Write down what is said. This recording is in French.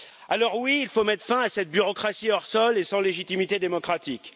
Alors oui, il faut mettre fin à cette bureaucratie hors sol et sans légitimité démocratique.